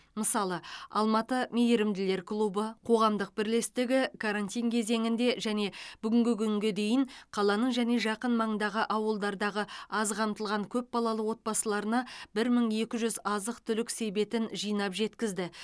мысалы алматы мейірімділер клубы қоғамдық бірлестігі карантин кезеңінде және бүгінгі күнге дейін қаланың және жақын маңдағы ауылдардағы аз қамтылған көпбалалы отбасыларына бір мың екі жүз азық түлік себетін жинап жеткізді